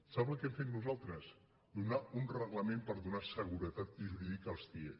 sap què hem fet nosaltres donar un reglament per donar segure·tat jurídica als cie